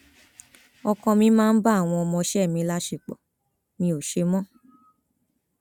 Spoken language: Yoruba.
ọkọ mi máa ń bá àwọn ọmọọṣẹ mi láṣepọ mi ò ṣe mọ